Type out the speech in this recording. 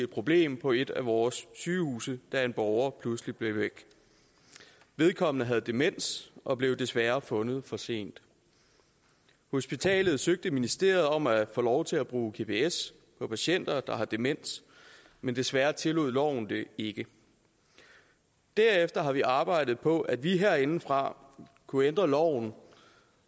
problem på et af vores sygehuse da en borger pludselig blev væk vedkommende havde demens og blev desværre fundet for sent hospitalet søgte ministeriet om at få lov til at bruge gps på patienter der har demens men desværre tillod loven det ikke derefter har vi arbejdet på at vi herindefra kunne ændre loven